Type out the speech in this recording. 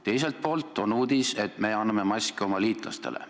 Teiselt poolt on uudis, et me anname maske oma liitlastele.